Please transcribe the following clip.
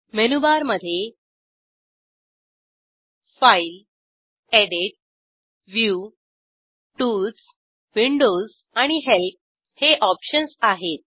menu bar मधे file edit view tools Windows आणि help हे ऑप्शन्स आहेत